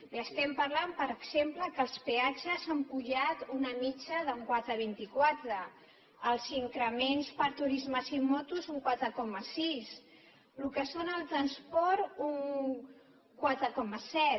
li estem parlant per exemple que els peatges han pujat una mitjana d’un quatre coma vint quatre els increments per a turismes i motos un quatre coma sis el que és el transport un quatre coma set